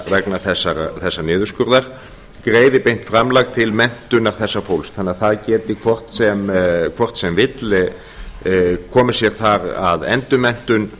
vegna þessa niðurskurðar greiði beint framlag til menntunar þessa fólks þannig að það geti hvort sem vill komið sér þar að endurmenntun